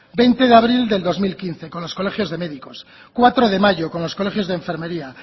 veinte de abril del dos mil quince con los colegios de médicos cuatro de mayo con los colegios de enfermería